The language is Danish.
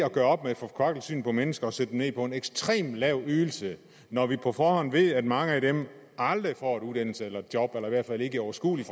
at gøre op med et forkvaklet syn på mennesker at sætte dem ned på en ekstremt lav ydelse når vi på forhånd ved at mange af dem aldrig får en uddannelse eller et job eller i hvert fald ikke i overskuelig